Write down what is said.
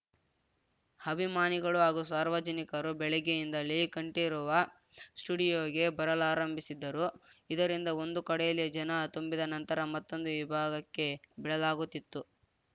ಅಭಿಮಾನಿಗಳು ಹಾಗೂ ಸಾರ್ವಜನಿಕರು ಬೆಳಗ್ಗೆಯಿಂದಲೇ ಕಂಠೀರವ ಸ್ಟುಡಿಯೋಗೆ ಬರಲಾರಂಭಿಸಿದ್ದರು ಇದರಿಂದ ಒಂದು ಕಡೆಯಲ್ಲಿ ಜನ ತುಂಬಿದ ನಂತರ ಮತ್ತೊಂದು ವಿಭಾಗಕ್ಕೆ ಬಿಡಲಾಗುತ್ತಿತ್ತು